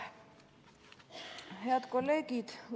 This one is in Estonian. Head kolleegid!